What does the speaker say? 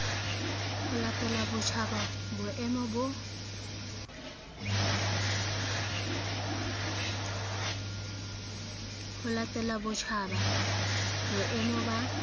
ho latela botjhaba boemo ba